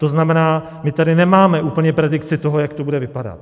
To znamená, my tady nemáme úplně predikci toho, jak to bude vypadat.